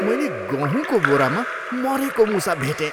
मैले गहुँको बोरामा मरेको मुसा भेटेँ।